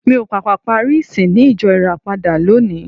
Mi ò pàpà parí ìsìn ní ìjọ Ìràpadà lónìí.